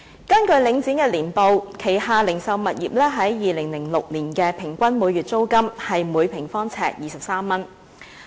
根據領展的年報，它旗下零售物業在2006年的平均每月租金是每平方呎23元。